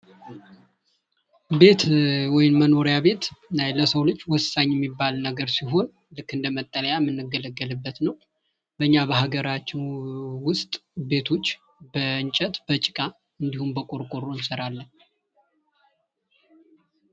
ቤት ወይንም መኖሪያ ቤት ለሰው ልጅ ወሳኝ የሚባል ነገር ሲሆን ልክ እንደመጠለያ የምንገለገልበት ነው በኛ በሀገራችን ውስጥ ቤቶች በእንጨት በጭቃ እንድሁም በቆርቆሮ እንሰራለን።